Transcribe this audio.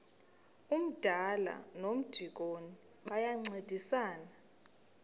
umdala nomdikoni bayancedisana